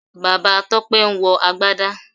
Bàbá Tọ́pẹ́ ń wọ Agbádá